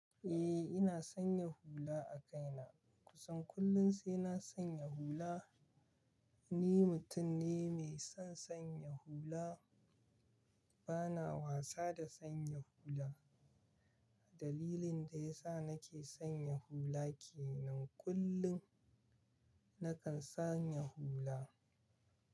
Eh ina sanya hula a kaina. Kusan kullum sai na sanya hula. Ni mutum ne mai son sanya hula. Bana wasa da sanya hula. Dalilin da yasa nake sanya hula kenan, kullum nakan sanya hula.